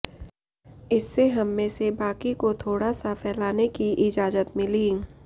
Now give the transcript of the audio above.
इससे हममें से बाकी को थोड़ा सा फैलाने की इजाजत मिली